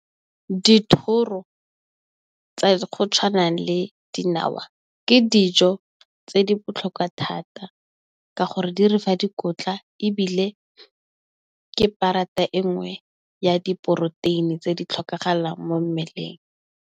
Dithoro tsa go tshwana le dinawa, ke dijo tse di botlhokwa thata ka gore di re fa dikotla ebile ke parata e nngwe ya diporoteini tse di tlhokagalang mo mmeleng.